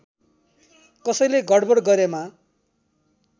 कसैले गडबड गरेमा